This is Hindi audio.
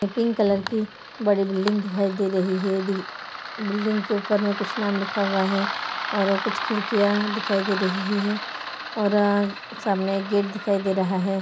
पिंक कलर की बड़ी बिल्डिंग दिखाए दे रही है डी बिल्डिंग के ऊपर मे कुछ नाम लिखा हुआ है और कुछ खिड़कियां दिखाई दे रही है सामने एक गेट दिखाई दे रहा है।